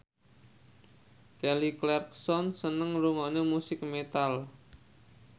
Kelly Clarkson seneng ngrungokne musik metal